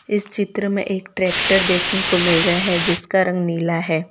इस चित्र में एक ट्रैक्टर देखने को मिल रहा है जिसका रंग नीला है।